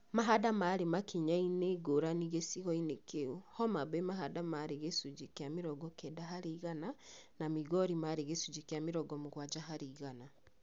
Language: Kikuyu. Mahanda marĩ makinya-inĩ ngũrani gĩcigo-inĩ kĩu , Homabay mahanda marĩ gĩcunjĩ kĩa mĩrongo kenda harĩ igana na Migori marĩ gĩcunjĩ kĩa mĩrongo mũgwanja harĩ igana